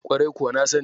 Kwarai kuwa na sani.